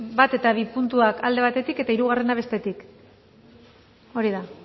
bat eta bi puntuak alde batetik eta hirugarrena bestetik hori da